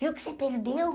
Viu o que você perdeu?